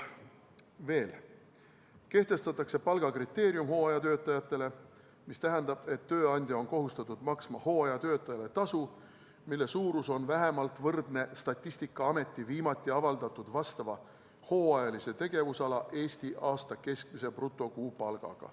Kehtestatakse palgakriteerium hooajatöötajatele, mis tähendab, et tööandja on kohustatud maksma hooajatöötajale tasu, mille suurus on vähemalt võrdne Statistikaameti viimati avaldatud vastava hooajalise tegevusala Eesti aasta keskmise brutokuupalgaga.